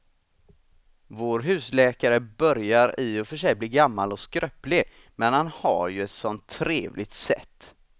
Vår husläkare börjar i och för sig bli gammal och skröplig, men han har ju ett sådant trevligt sätt!